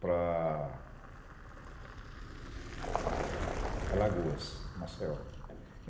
para Alagoas, Maceió.